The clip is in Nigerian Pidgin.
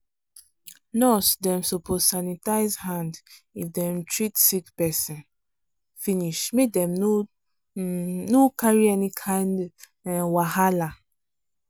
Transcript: nurse dem suppose sanitize hand if they treat sick person finish make dem um no carry any kind um wahala.